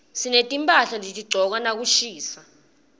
sinetimphahla lesitigcoka nakushisa